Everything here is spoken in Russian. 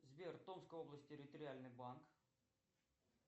сбер томская область территориальный банк